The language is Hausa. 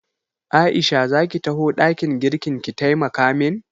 Aisha za ki taho ɗakin girkin ki taimaka min?